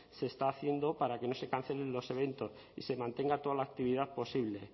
se está haciendo para que no se cancelen los eventos y se mantenga toda la actividad posible